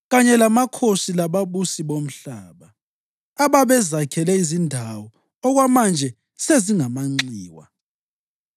kanye lamakhosi lababusi bomhlaba, ababezakhele izindawo okwamanje sezingamanxiwa,